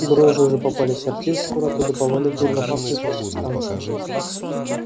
дрожжи уже попали в сортир скоро оттуда повалят дурнопахнущие субстанции